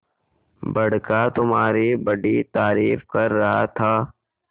बड़का तुम्हारी बड़ी तारीफ कर रहा था